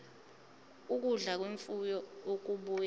ukudla kwemfuyo okubuya